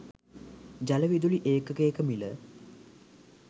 ජලවිදුලි ඒකකයක මිල